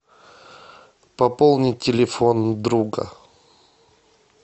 пополнить телефон друга